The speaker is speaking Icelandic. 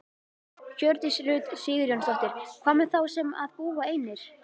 Hjördís Rut Sigurjónsdóttir: Hvað með þá sem að búa einir?